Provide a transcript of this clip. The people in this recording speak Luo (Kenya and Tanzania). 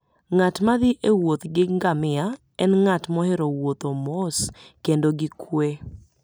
Ng'at ma thi e wuoth gi ngamia en ng'at mohero wuotho mos kendo gi kuwe.